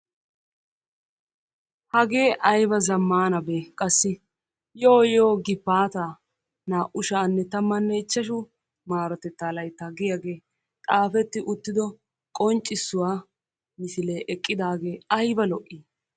hagee aybba zammaanabee qassi! yooyoo gifaataa naa"u sha"anne tammanne ichchashu marottettaa layttaa giyaagee xaafeti uuttido qonccisuwaa misilee ayba lo"ii?